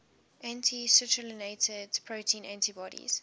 anti citrullinated protein antibodies